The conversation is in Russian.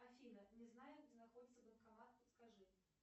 афина не знаю где находится банкомат подскажи